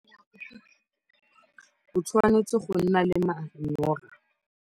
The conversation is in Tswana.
O tshwanetse go nna le manyoro.